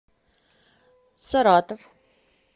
саратов